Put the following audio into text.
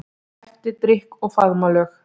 Eftir drykk og faðmlög.